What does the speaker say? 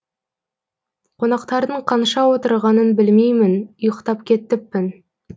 қонақтардың қанша отырғанын білмеймін ұйықтап кетіппін